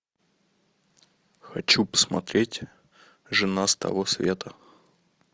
хочу посмотреть жена с того света